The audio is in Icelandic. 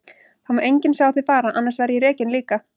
Það má enginn sjá þig fara, annars verð ég rekinn líka.